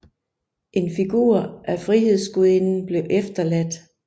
En figur af Frihedsgudinden blev efterladt